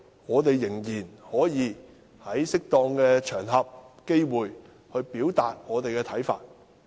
我們仍可在適當的場合和機會表達自己的看法。